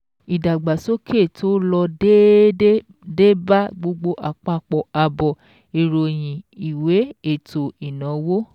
Ìdàgbàsókè tó lọ déédéé dé bá gbogbo àpapọ̀ àbọ̀ ìròyìn ìwé ètò ìnáwó.